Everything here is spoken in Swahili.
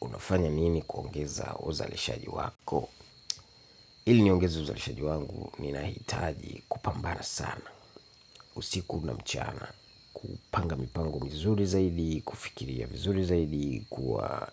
Unafanya nini kuongeza uzalishaji wako? Hili niongeze uzalishaji wangu, ninahitaji kupambana sana. Usiku na mchana. Kupanga mipango mizuri zaidi, kufikiria vizuri zaidi, kuwa